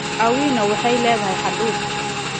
Awino waxay leedahay hadhuudh